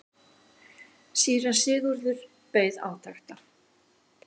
Síra Sigurður beið átekta.